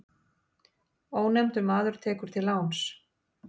Ónefndur maður tekur til láns.